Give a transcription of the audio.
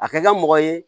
A kɛ ka mɔgɔ ye